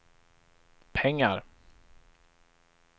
pengar